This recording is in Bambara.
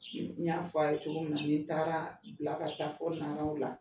N'i y'a fɔ a ye cogomina, ni taara bila ka taa fɔ Naraw la.